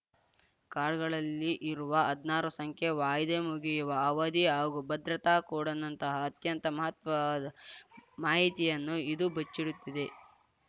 ಕಾರ್ಡ್‌ಗಳಲ್ಲಿ ಇರುವ ಹದ್ನಾರು ಸಂಖ್ಯೆ ವಾಯಿದೆ ಮುಗಿಯುವ ಅವಧಿ ಹಾಗೂ ಭದ್ರತಾ ಕೋಡ್‌ನಂತಹ ಅತ್ಯಂತ ಮಹತ್ವದ ಮಾಹಿತಿಯನ್ನು ಇದು ಬಚ್ಚಿಡುತ್ತದೆ